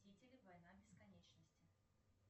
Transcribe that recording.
мстители война бесконечности